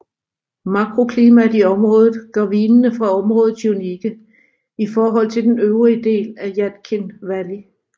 Mikroklimaet i området gør vinene fra området unikke i forhold til den øvrige del af Yadkin Valley